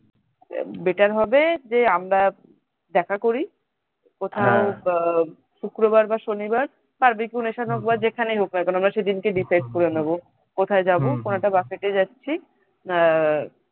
আহ better হবে যে আমরা দেখা করি কোথায় আহ শুক্রবার বা শনিবার barbeque nation এ হোক বা যেখানেই হোক না কেন আমরা সেদিনকে decide করে নেবো কোথায় যাবো কোনো একটা buffet এ যাচ্ছি